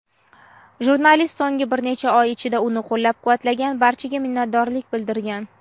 Jurnalist so‘nggi bir necha oy ichida uni qo‘llab-quvvatlagan barchaga minnatdorlik bildirgan.